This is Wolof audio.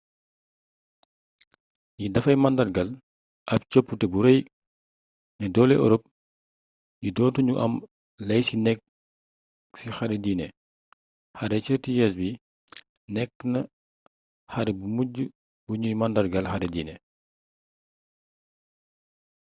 li dafay màndargaal ab coppite bu rëy ne doole ërop yi doo tu ñu am lay ci nekk ci xare diine xare thirty years bi nekk xare bu mujj bu nuy màndargaal xare dine